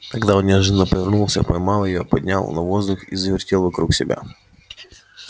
тогда он неожиданно повернулся поймал её поднял на воздух и завертел вокруг себя